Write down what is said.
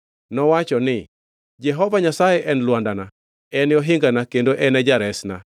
Nowacho ni: “Jehova Nyasaye en lwandana, en ohingana kendo en e jaresna;